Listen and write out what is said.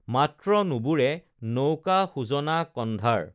মাত্ৰ নুবুৰে নৌকা সুজনা কণ্ঢাৰ